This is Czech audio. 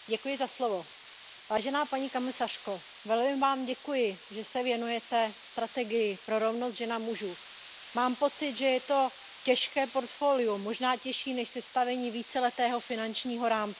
Paní předsedající, paní komisařko, velmi Vám děkuji, že se věnujete strategii pro rovnost žen a mužů. Mám pocit, že je to těžké portfolio, možná těžší než sestavení víceletého finančního rámce.